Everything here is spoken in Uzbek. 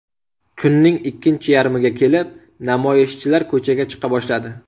Kunning ikkinchi yarmiga kelib namoyishchilar ko‘chaga chiqa boshladi.